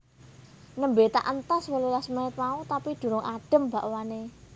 Nembe tak entas wolulas menit mau tapi durung adem bakwane